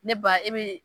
Ne ba e bɛ